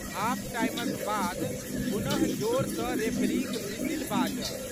Half टाइमक बाद पुनः जोर सँ रेफरीक भिसिल बाजल।